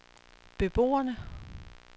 beboerne